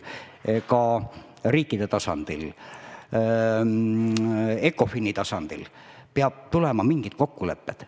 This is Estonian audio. Ka riikide tasandil, ECOFIN-i tasandil peavad tulema kokkulepped.